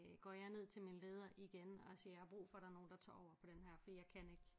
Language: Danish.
Går jeg ned til min leder igen og siger jeg har brug for der er nogen der tager over på den her fordi jeg kan ikke